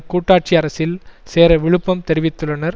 கூட்டாட்சி அரசில் சேர விழுப்பம் தெரிவித்துள்ளனர்